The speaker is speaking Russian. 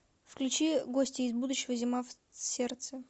включи гости из будущего зима в сердце